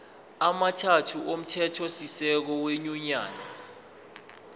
amathathu omthethosisekelo wenyunyane